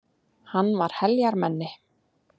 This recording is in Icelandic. Hann var heljarmenni.